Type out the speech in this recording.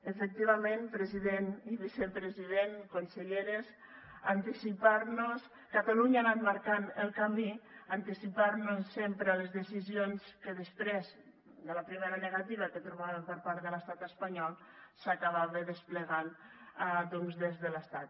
efectivament president i vicepresident conselleres catalunya ha anat marcant el camí anticipar nos sempre a les decisions que després de la primera negativa que trobàvem per part de l’estat espanyol s’acabaven desplegant doncs des de l’estat